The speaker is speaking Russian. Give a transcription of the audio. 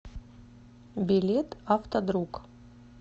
билет автодруг